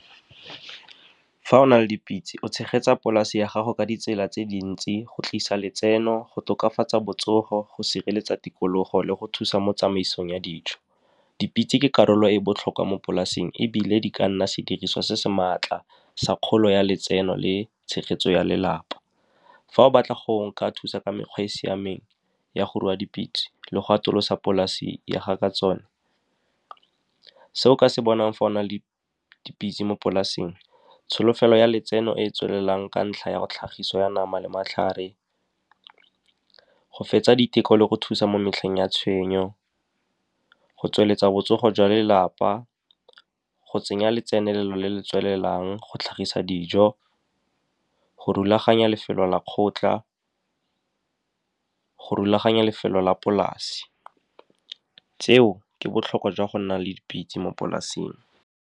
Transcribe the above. Fa o na le dipitse, o tshegetsa polase ya gago ka ditsela tse dintsi, go tlisa letseno, go tokafatsa botsogo, go sireletsa tikologo, le go thusa mo tsamaisong ya dijo. Dipitse ke karolo e e botlhokwa mo polaseng, ebile di ka nna sediriswa se se maatla sa kgolo ya letseno le tshegetso ya lelapa. Fa o batla go ka thusa ka mekgwa e e siameng ya go rua dipitse le go atolosa polase ya gago ka tsone. Se o ka se bonang fa o na le dipitse mo polaseng, tsholofelo ya letseno e e tswelelang ka ntlha ya tlhagiso ya nama le matlhare, go fetsa diteko, le go thusa mo metlheng ya tshenyo, go tsweletsa botsogo jwa lelapa, go tsenya letsenelelo le le tswelelang, go tlhagisa dijo, go rulaganya lefelo la kgotla, go rulaganya lefelo la polase. Tseo ke botlhokwa jwa go nna le dipitse mo polaseng.